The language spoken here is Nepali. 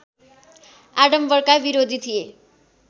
आडम्बरका विरोधी थिए